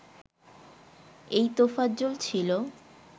এই তোফাজ্জল ছিলো